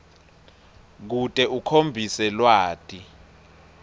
kute ukhombise lwati